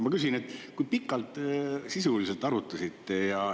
Ma küsin, et kui pikalt te sisuliselt arutasite.